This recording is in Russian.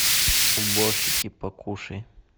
уборщики покушай